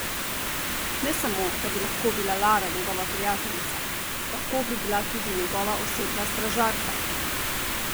Ne samo, da bi lahko bila Lara njegova prijateljica, lahko bi bila tudi njegova osebna stražarka!